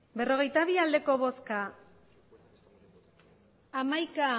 berrogeita bi ez hamaika